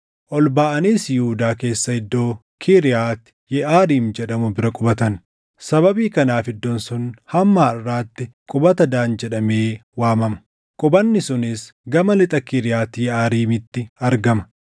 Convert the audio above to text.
Ol baʼaniis Yihuudaa keessa iddoo Kiriyaati Yeʼaariim jedhamu bira qubatan. Sababii kanaaf iddoon sun hamma harʼaatti qubata Daan jedhamee waamama; qubanni sunis gama lixa Kiriyaati Yeʼaariimitti argama.